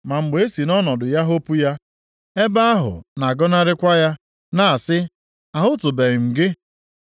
Ma mgbe e si nʼọnọdụ ya hopu ya, ebe ahụ na-agọnarịkwa ya, na-asị, ‘Ahụtụbeghị m gị.’